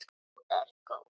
Þú ert góð!